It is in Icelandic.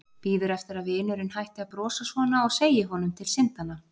Bíður eftir að vinurinn hætti að brosa svona og segi honum til syndanna.